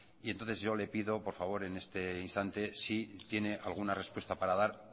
y entonces yo le pido por favor en este instante si tiene alguna respuesta para dar